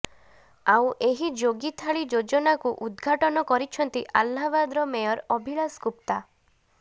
ଆଉ ଏହି ଯୋଗୀ ଥାଳି ଯୋଜନାକୁ ଉଦ୍ଘାଟନ କରିଛନ୍ତି ଆହ୍ଲାବାଦର ମେୟର ଅଭିଳାଶ ଗୁପ୍ତା